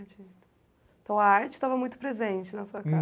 Então, a arte estava muito presente na sua casa.